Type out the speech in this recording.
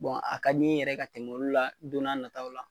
Bɔn a ka di in ye yɛrɛ ka tɛmɛ olu la donna nataw la